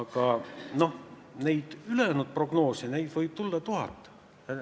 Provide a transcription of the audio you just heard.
Aga, noh, neid ülejäänud prognoose võib olla kas või tuhat.